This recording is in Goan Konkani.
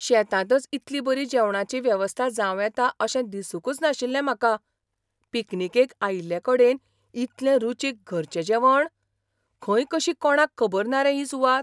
शेतांतच इतली बरी जेवणाची वेवस्था जावं येता अशें दिसूंकच नाशिल्लें म्हाका. पिकनिकेक आयिल्लेकडेन इतलें रुचीक घरचें जेवण! खंय कशी कोणाक खबर ना रे ही सुवात?